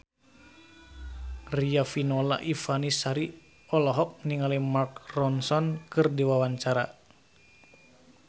Riafinola Ifani Sari olohok ningali Mark Ronson keur diwawancara